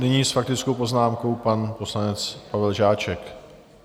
Nyní s faktickou poznámkou pan poslanec Pavel Žáček.